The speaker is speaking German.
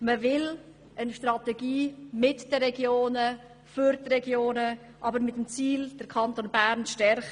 Man will eine Strategie entwickeln: mit den Regionen, für die Regionen und mit dem Ziel, den Kanton Bern zu stärken.